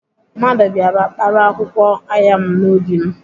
Mmadụ bịara kpara akwụkwọ ayan m n'ubi m.